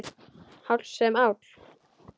Háll sem áll.